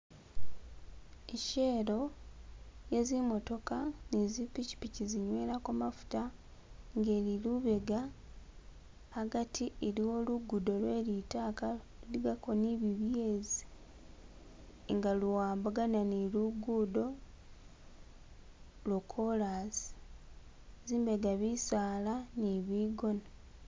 I'shell esi zi mootoka ni zipikipiki zinywelako mafuta nga ili lubega hagati iliwo lugudo lwelitaka luligako ni bibyezi inga luwambagana ni lugudo lwo kolasi zimbega bisaala ni bigona.